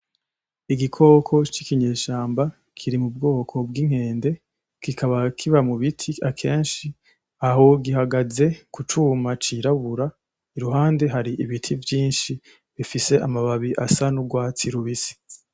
Igikoko c'ikinyeshamba kiri mu bwoko bw'inkende, kikaba kiba mubiti akenshi aho gihagaze ku cuma c'irabura iruhande hari ibiti vyinshi bifise amababi asa n'urwatsi rubisi.